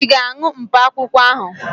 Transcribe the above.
Ị ga-aṅụ mkpakwụkwọ ahụ?